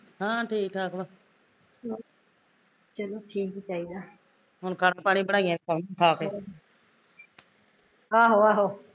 ਹਾਂ ਠੀਕ ਠਾਕ ਵਾਂ ਹੁਣ ਗਰਮ ਪਾਣੀ ਬਣਾਈਏ ਖਾ ਕੇ